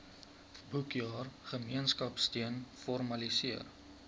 boekjaar gemeenskapsteun formaliseer